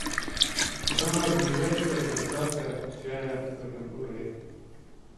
самая ближайшая доставка чая в этом городе